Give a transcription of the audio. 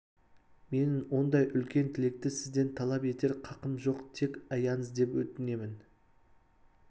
менің ондай үлкен тілекті сізден талап етер қақым жоқ тек аяңыз деп өтінемін